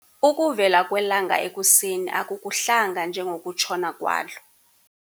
Ukuvela kwelanga ekuseni akukuhlanga njengokutshona kwalo.